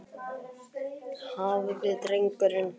Hafði drengurinn virkilega skammast sín fyrir mig fram að þessu?